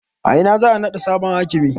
A ina za a naɗa sabon hakimin?